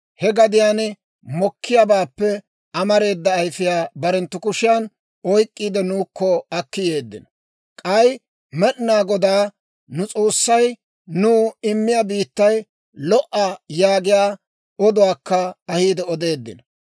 He gadiyaan mokkiyaabaappe amareeda ayfiyaa barenttu kushiyan oyk'k'iide, nuukko akki yeeddino; k'ay, ‹Med'inaa Godaa nu S'oossay nuw immiyaa biittay lo"a› yaagiyaa oduwaakka ahiide odeeddino.